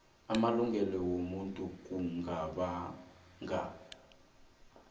amalungelo wobuntu kungabanga